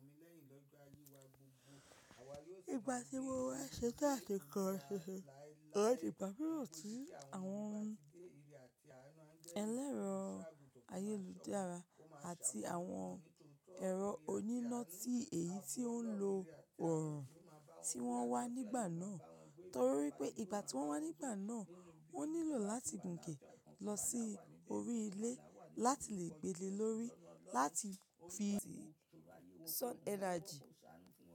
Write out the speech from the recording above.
Ìgbà tí mo wá ṣètan àti kọ́ ṣíṣe, mo rí ìpàdé pẹ̀lú ti àwọn ẹlẹ́rọ ayélujára àti àwọn ẹ̀rọ oníná tí èyí tí ó ń lo ọrùn tí wọ́n wá nígbà náà. Torí pé ìgbà tí wọ́n wá nígbà náà, ó nílò láti gùnkè lọ sí orí ilé láti lè gbele lórí láti fi sun energy.